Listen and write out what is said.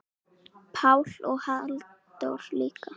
Pál og Halldór líka.